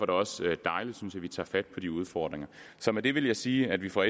det også dejligt synes vi tager fat på de udfordringer så med det vil jeg sige at vi fra